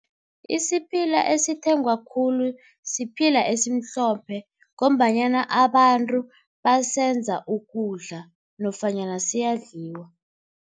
Isiphila esithengwako khulu siphila esimhlophe ngombanyana abantu basenza ukudla nofanyana siyadliwa.